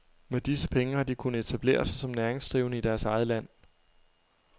Med disse penge har de kunnet etablere sig som næringsdrivende i deres eget land.